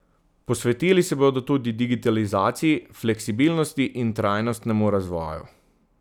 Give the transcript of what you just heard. Posvetili se bodo tudi digitalizaciji, fleksibilnosti in trajnostnemu razvoju.